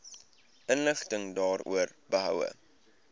inligting daaroor behoue